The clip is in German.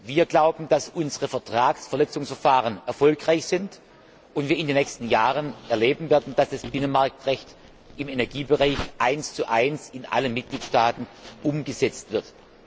Wir glauben, dass unsere Vertragsverletzungsverfahren erfolgreich sind und wir in den nächsten Jahren erleben werden, dass das Binnenmarktrecht im Energiebereich 11 in allen Mitgliedstaaten umgesetzt wird.